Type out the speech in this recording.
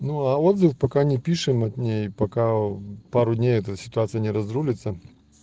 ну а отзывы пока не пишем от ней пока пару дней это ситуация не разрулиться